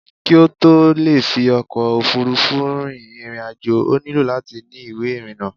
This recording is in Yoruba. kí ó tó le fi ọkò òfurufú rin ìrìn àjò, ó nílò láti ni ìwé ìrìnà